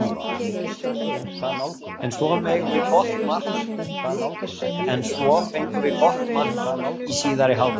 En svo fengum við gott mark í síðari hálfleik.